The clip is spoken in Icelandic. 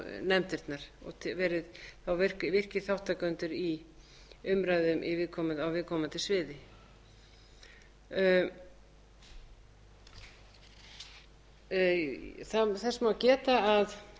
nefndirnar verið þá virkir þátttakendur í umræðum á viðkomandi sviði þess má geta að það er